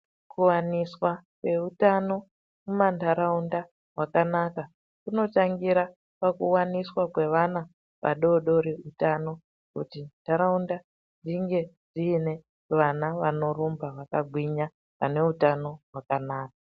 Kuwaniswa kweutano mumanharaunda kwakanaka. Kunotangira pakuwaniswa kwevana vadoodori utano kuti nharaunda dzinge dziine vana vanorumba vakagwinya vane utano hwakanaka.